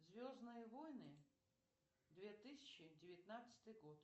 звездные войны две тысячи девятнадцатый год